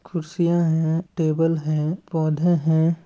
कुर्सीयाँ है टेबल है पौधे हैं।